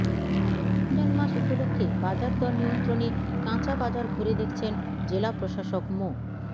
রমজান মাস উপলক্ষে বাজার দর নিয়ন্ত্রণে কাঁচাবাজার ঘুরে দেখছেন জেলা প্রশাসক মো